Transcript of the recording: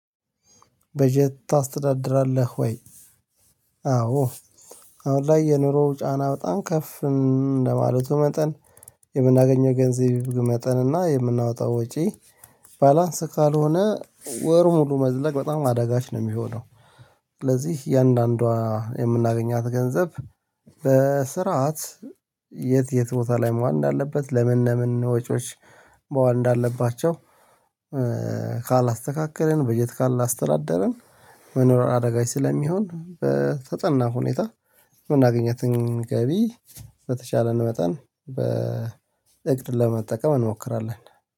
በጀት ታስተዳድራለህ ወይ? አዎ አሁን ላይ የኑሮው ጫና በጣም ከፍ እንደማለቱ መጠን የምናገኘው ገንዘብ መጠን እና የምናወጣው ወጪ ባላንስ ካልሆነ ወር ሙሉ መዝለቅ በጣም አዳጋች ነው የሚሆነው ስለዚህ እያንዳንዷ የምናገኛት ገንዘብ በስርዓት የት የት ቦታ ላይ መዋል እንዳለበት ለምን ለምን ወጪዎች መዋል እንዳለባቸው ካላስተካከልን በጀት ካላስተዳደርን መኖር አዳጋች ስለሚሆን በተጠና ሁኔታ የምናገኛትን ገቢ በተሻለን መጠን በእቅድ ለመጠቀም እንሞክራለን